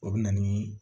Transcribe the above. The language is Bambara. O bɛ na ni